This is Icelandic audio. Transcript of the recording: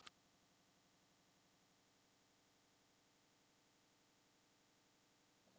Læstir þú dyrunum?